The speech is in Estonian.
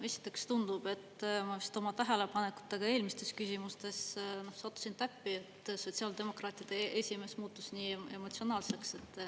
Esiteks tundub, et ma vist oma tähelepanekutega eelmistes küsimustes sattusin täppi, et sotsiaaldemokraatide esimees muutus nii emotsionaalseks.